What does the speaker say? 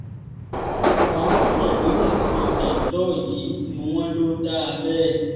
ọ̀pọ̀ àwọn tó sọ̀rọ̀ lórí èsì jandor yìí ni wọ́n lò dáa bẹ́ẹ̀